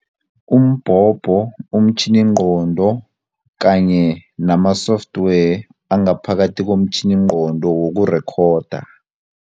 Umbhobho, umtjhiningqondo kanye nama-software angaphakathi komtjhiningqondo wokurekhoda.